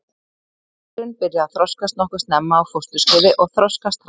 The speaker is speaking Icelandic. Nýrun byrja að þroskast nokkuð snemma á fósturskeiði og þroskast hratt.